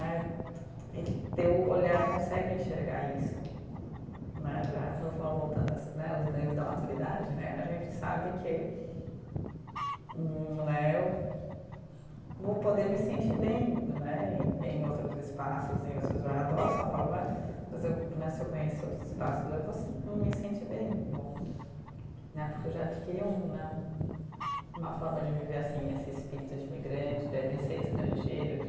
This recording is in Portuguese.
Eh e teu olhar consegue enxergar isso né eh, voltando né aos ganhos da maturidade né, a gente sabe que hum né, eu vou poder me sentir bem né em, em outros espaços em, adoro São Paulo né, mas eu né, se eu conhecer outros espaços eu vou me sentir bem vou né, porque eu já adquiri um né, uma forma de viver esse espírito de imigrante né, de ser estrangeiro de